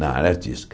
Na área artística.